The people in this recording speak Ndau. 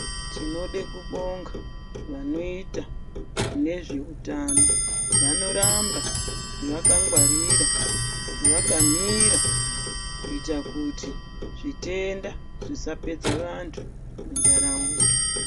Tinode kubonga vanoite nezvehutano vanoramba vakangwarira vakamira kuita kuti zvitenda zvisapedza vantu mundaraunda.